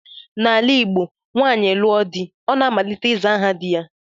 N'ala Igbo, nwaanyị lụọ di, ọ na-amalite ịza aha di ya